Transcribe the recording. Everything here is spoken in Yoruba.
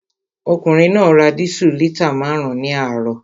Ọkùnrin náà ra dísù lítà márùn-ún ní àárọ̀